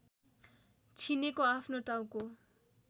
छिनेको आफ्नो टाउको